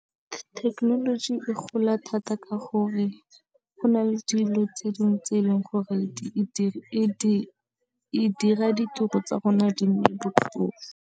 Thekenoloji e gola thata ka gore go na le dilo tse dingwe tse e leng gore e dira ditiro tsa bona di nne botlhofo.